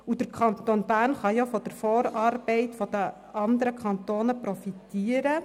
Der Kanton Bern kann von der Vorarbeit der anderen Kantone profitieren;